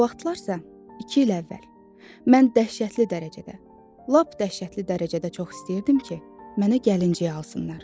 O vaxtlarsa, iki il əvvəl mən dəhşətli dərəcədə, lap dəhşətli dərəcədə çox istəyirdim ki, mənə gəlincik alsınlar.